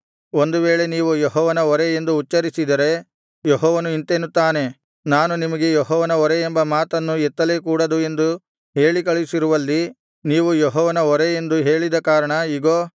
ಒಂದು ವೇಳೆ ನೀವು ಯೆಹೋವನ ಹೊರೆ ಎಂದು ಉಚ್ಚರಿಸಿದರೆ ಯೆಹೋವನು ಇಂತೆನ್ನುತ್ತಾನೆ ನಾನು ನಿಮಗೆ ಯೆಹೋವನ ಹೊರೆ ಎಂಬ ಮಾತನ್ನು ಎತ್ತಲೇ ಕೂಡದು ಎಂದು ಹೇಳಿಕಳುಹಿಸಿರುವಲ್ಲಿ ನೀವು ಯೆಹೋವನ ಹೊರೆ ಎಂದು ಹೇಳಿದ ಕಾರಣ ಇಗೋ